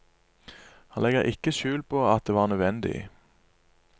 Han legger ikke skjul på at det var nødvendig.